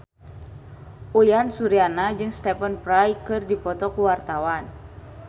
Uyan Suryana jeung Stephen Fry keur dipoto ku wartawan